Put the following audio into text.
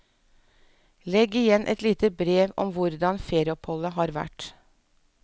Legg igjen et lite brev om hvordan ferieoppholdet har vært.